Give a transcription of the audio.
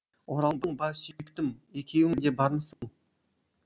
оралдың ба сүйіктім екеуің де бармысың